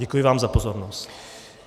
Děkuji vám za pozornost.